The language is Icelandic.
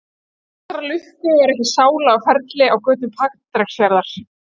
Til allrar lukku var ekki sála á ferli á götum Patreksfjarðar.